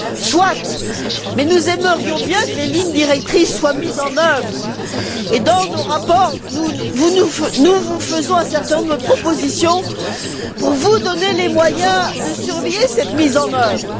Soit, mais nous aimerions bien que les lignes directrices soient mises en œuvre et, dans nos rapports, nous vous faisons un certain nombre de propositions pour vous donner les moyens de surveiller cette mise en œuvre.